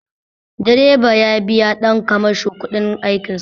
Direba ya biya ɗan kamasho kuɗin aikin sa